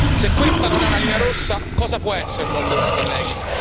Se questa non è una linea rossa, cosa può esserlo, allora colleghi?